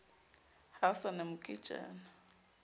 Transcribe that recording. ha ho sa na moketjana